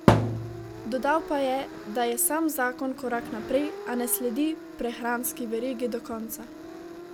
Dodal pa je, da je sam zakon korak naprej, a ne sledi prehranski verigi do konca.